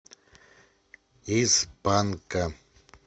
из панка